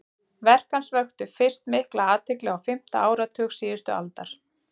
verk hans vöktu fyrst mikla athygli á fimmta áratug síðustu aldar